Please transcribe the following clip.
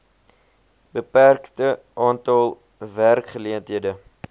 beperkte aantal werkgeleenthede